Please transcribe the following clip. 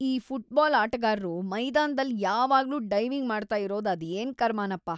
ಈ ಫುಟ್ಬಾಲ್ ಆಟಗಾರ್ರು ಮೈದಾನ್ದಲ್ಲಿ ಯಾವಾಗ್ಲೂ ಡೈವಿಂಗ್ ಮಾಡ್ತಾ ಇರೋದು ಅದೇನ್ ಕರ್ಮನಪ.